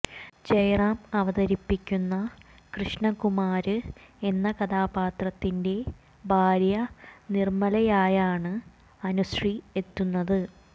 ജയറാം അവതരിപ്പിക്കുന്ന കൃഷ്ണകുമാര് എന്ന കഥാപാത്രത്തിന്റെ ഭാര്യ നിര്മ്മലയായാണ് അനുശ്രീ എത്തുന്നത്